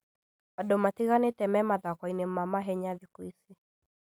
Andũ matiganĩte me mathako-inĩ ma mahenya thikũ ici